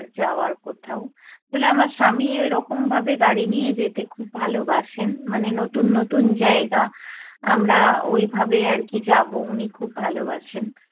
যাওয়ার কোথাও। আসলে আমার স্বামী ওইরকমভাবে গাড়ি নিয়ে যেতে খুব ভালোবাসেন, মানে নতুন নতুন জায়গা আমরা ওইভাবে আর কী যাবো উনি খুব ভালোবাসেন।